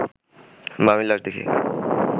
মামির লাশ দেখি